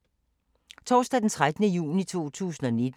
Torsdag d. 13. juni 2019